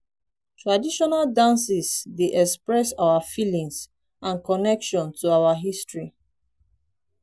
traditional dances dey express our feelings and connection to our history.